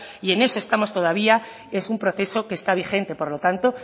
y en eso estamos todavía es un proceso que está vigente por lo tanto